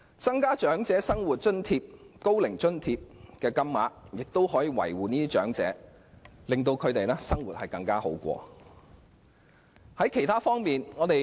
調高長者生活津貼及高齡津貼的金額，則可照顧長者，令他們的生活過得更好。